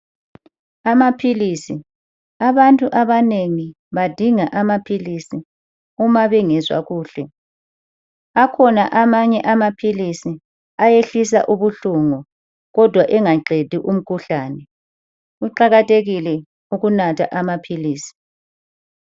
Amaphilisi, abantu abanengi badinga amaphilisi uma bengezwa kuhle. Akhona amanye amaphilisi ayehlisa ubuhlungu kodwa engaqedi umkhuhlane. Kuqakathekile ukunatha amaphilisi.